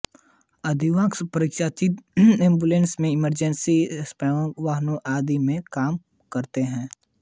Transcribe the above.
अधिकांश पराचिकित्सक एम्बुलेंस में इमरजेंसी रिस्पॉन्स वाहनों आदि में काम करते हैं